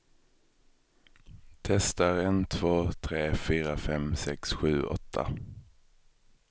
Testar en två tre fyra fem sex sju åtta.